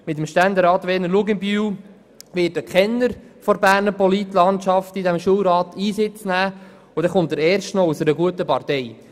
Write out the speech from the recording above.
Mit dem Ständerat Werner Luginbühl wird ein Kenner der Berner Politlandschaft im Schulrat Einsitz nehmen, und erst noch einer aus einer guten Partei.